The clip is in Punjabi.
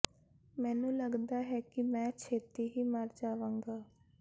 ਮੈਨੂੰ ਲਗਦਾ ਹੈ ਕਿ ਮੈਂ ਛੇਤੀ ਹੀ ਮਰ ਜਾਵਾਂਗਾ